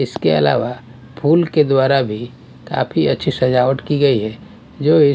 इसके अलावा फूल के द्वारा भी काफी अच्छी सजावट की गई है जो--